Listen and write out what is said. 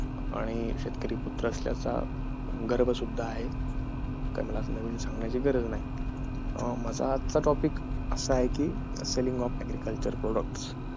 आणि शेतकरी पुत्र असल्याचा गर्व सुद्धा आहे तर मला नवीन सांगायची गरज नाही माझा आजचा topic असा आहे कि